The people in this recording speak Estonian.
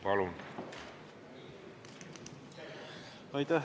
Palun!